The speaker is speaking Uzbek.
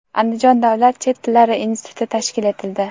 Andijon davlat chet tillari instituti tashkil etildi.